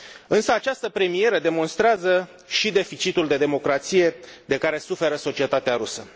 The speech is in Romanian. Însă această premieră demonstrează și deficitul de democrație de care suferă societatea rusă.